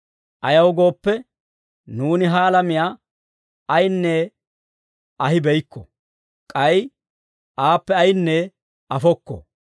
Ayaw gooppe, nuuni ha alamiyaa ayinne ahibeykko; k'ay aappe ayinne afokko.